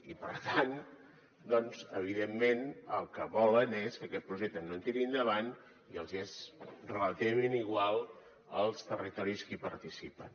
i per tant doncs evidentment el que volen és que aquest projecte no tiri endavant i els hi és relativament igual els territoris que hi participen